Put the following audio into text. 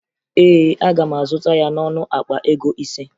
Ee, aga m azụta ya n'ọnụ akpa ego ise